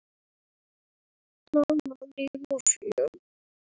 Þar var líf og fjör.